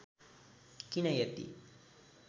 किन यति